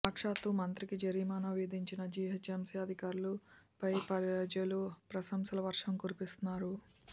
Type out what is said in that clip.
సాక్షాత్తు మంత్రికి జరిమానా విధించిన జీహెచ్ఎంసీ అధికారుల పై ప్రజలు ప్రశంసల వర్షం కురిపిస్తున్నారు